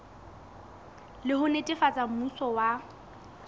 le ho netefatsa mmuso wa